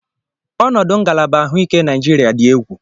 Ọnọdụ ngalaba ahụike Naịjirịa dị egwu.